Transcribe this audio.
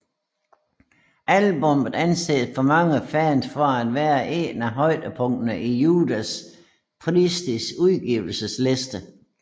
Albummet anses af mange fans for at være en af højdepunkterne i Judas Priests udgivelsesliste